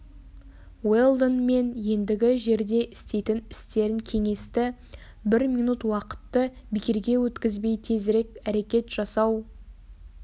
уэлдон мен ендігі жерде істейтін істерін кеңесті бір минут уақытты бекерге өткізбей тезірек әрекет жасау